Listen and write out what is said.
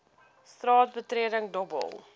straat betreding dobbel